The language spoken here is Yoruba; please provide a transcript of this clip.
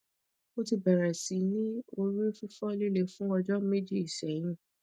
mo ti beere si ni ori fifo lile fun ojo meji sehin